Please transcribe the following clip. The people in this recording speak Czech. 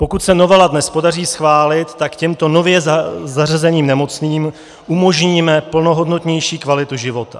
Pokud se novelu dnes podaří schválit, tak těmto nově zařazeným nemocným umožníme plnohodnotnější kvalitu života.